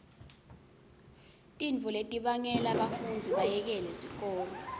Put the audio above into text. tintfo letibangela bafundzi bayekele sikolo